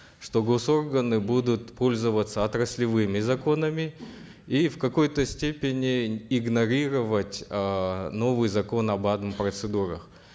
что госорганы будут пользоваться отраслевыми законами и в какой то степени игнорировать эээ новый закон об адм процедурах